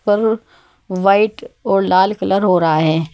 और व्हाइट और लाल कलर हो रहा है।